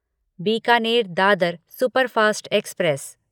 Bikaner Dadar superfast express